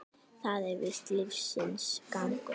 Það er víst lífsins gangur.